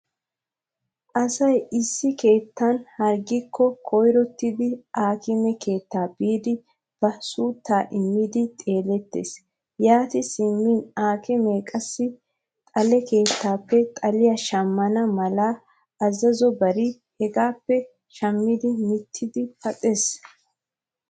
Asay issi keettan harggikko koyrottidi aakime keettaa biidi ba suuttaa immidi xeelettees. Yaati simmin aakimee qassi xale keettaappe xaliya shammana mala azazobare hegaappe shammi mittidi paxees.